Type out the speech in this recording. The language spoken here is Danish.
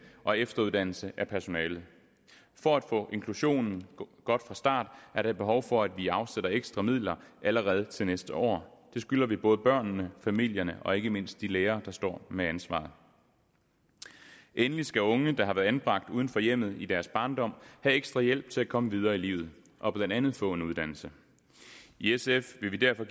og efteruddannelse af personalet for at få inklusionen godt fra start er der et behov for at vi afsætter ekstra midler allerede til næste år det skylder vi både børnene familierne og ikke mindst de lærere der står med ansvaret endelig skal unge der har været anbragt uden for hjemmet i deres barndom have ekstra hjælp til at komme videre i livet og blandt andet få en uddannelse i sf vil vi derfor